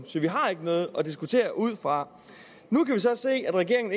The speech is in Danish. så vi har ikke noget at diskutere ud fra nu kan vi så se at regeringen